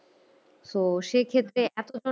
তো সেই ক্ষেত্রে এত